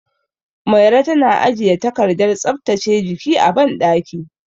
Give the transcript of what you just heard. Mairo tana ajiye takardar tsaftace jiki a banɗaki.